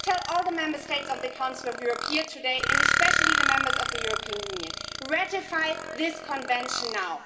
I tell all the member states of the Council of Europe here today, and especially the members of the European Union ratify this Convention now.